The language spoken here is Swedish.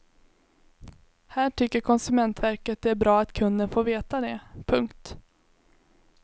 Här tycker konsumentverket det är bra att kunden får veta det. punkt